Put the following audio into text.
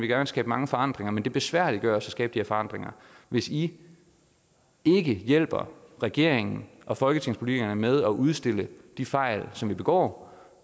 gerne skabe mange forandringer men det besværliggøres at skabe de her forandringer hvis i ikke hjælper regeringen og folketingspolitikerne med at udstille de fejl som vi begår